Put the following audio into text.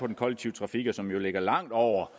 den kollektive trafik og som jo ligger langt over